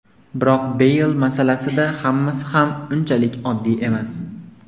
Biroq Beyl masalasida hammasi ham unchalik oddiy emas.